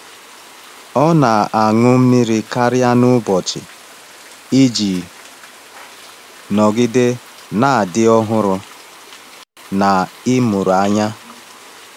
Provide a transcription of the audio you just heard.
Ọ na-aṅụ mmiri karịa n’ụbọchị iji nọgide na-adị ọhụrụ na ịmụrụ anya.